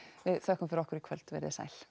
við þökkum fyrir okkur í kvöld veriði sæl